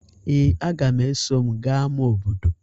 Ee, aga m eso m gaa ama obodo